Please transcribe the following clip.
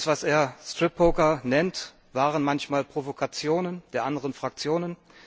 Das, was er Strip Poker nennt, waren manchmal Provokationen der anderen Fraktionen.